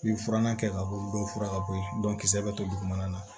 I ye furan kɛ ka bɔ dɔw furan ka bɔ yen kisɛ bɛ to dugumana na